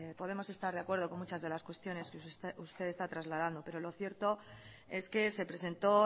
podemos estar de acuerdo con muchas de las cuestiones que usted está trasladando pero lo cierto es que se presentó